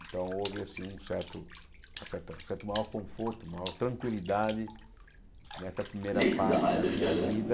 Então houve assim um certo uma certa certo maior conforto, maior tranquilidade nessa primeira parte da minha vida,